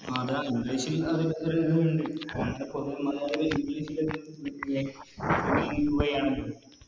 അതാ English ൽ ഇണ്ട് ക്കുകയാണല്ലോ